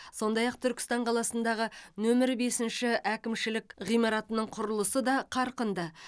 сондай ақ түркістан қаласындағы нөмірі бесінші әкімшілік ғимаратының құрылысы да қарқынды